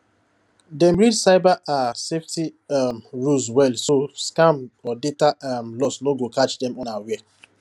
dem read cyber um safety um rules well so scam or data um loss no go catch dem unaware